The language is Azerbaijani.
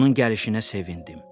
Onun gəlişinə sevindim.